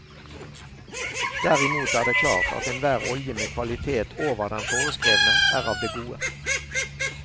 Derimot er det klart at enhver olje med kvalitet over den foreskrevne er av det gode.